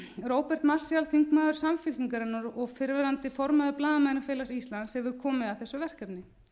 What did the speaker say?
róbert marshall þingmaður samfylkingarinnar og fyrrverandi formaður blaðamannafélags íslands hefur komið að þessu verkefni